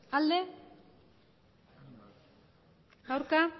emandako